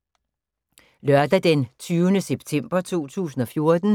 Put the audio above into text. Lørdag d. 20. september 2014